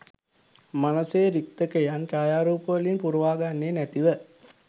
මනසේ රික්තකයන් ඡායාරූපවලින් පුරවාගන්නේ නැතිව